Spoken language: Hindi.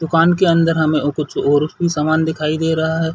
दुकान के अंदर हमें कुछ और भी सामान दिखाई दे रहा है।